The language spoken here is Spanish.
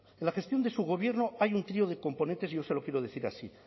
en la gestión de su gobierno hay un trío de componentes y yo se lo quiero decir así